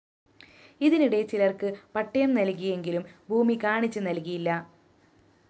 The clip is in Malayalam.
ഇതിനിടെ ചിലര്‍ക്ക് പട്ടയം നല്‍കിയെങ്കിലും ഭൂമി കാണിച്ച് നല്‍കിയില്ല